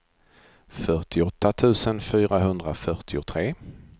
fyrtioåtta tusen fyrahundrafyrtiotre